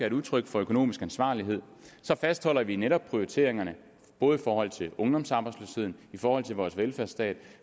et udtryk for økonomisk ansvarlighed og så fastholder vi netop prioriteringerne både i forhold til ungdomsarbejdsløsheden i forhold til vores velfærdsstat